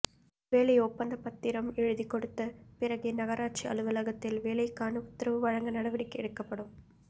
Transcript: வேலை ஒப்பந்த பத்திரம் எழுதி கொடுத்த பிறகே நகராட்சி அலுவலகத்தில் வேலைக்கான உத்தரவு வழங்க நடவடிக்கை எடுக்கப்படும்